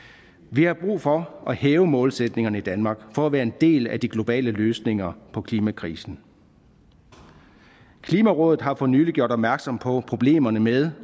vi har brug for at hæve målsætningerne i danmark for at være en del af de globale løsninger på klimakrisen klimarådet har for nylig gjort opmærksom på problemerne med